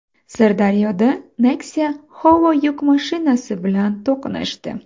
Sirdaryoda Nexia Howo yuk mashinasi bilan to‘qnashdi.